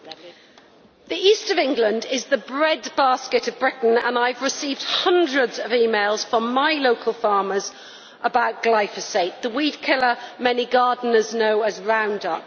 Mr President, the East of England is the bread basket of Britain, and I have received hundreds of emails from my local farmers about glyphosate, the weed killer many gardeners know as Roundup.